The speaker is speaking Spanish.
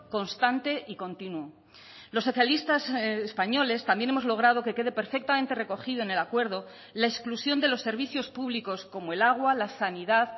constante y continuo los socialistas españoles también hemos logrado que quede perfectamente recogido en el acuerdo la exclusión de los servicios públicos como el agua la sanidad